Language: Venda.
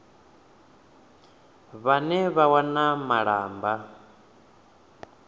vhane vha wana malamba mauku